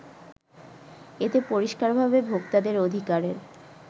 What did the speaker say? এতে পরিস্কারভাবে ভোক্তাদের অধিকারের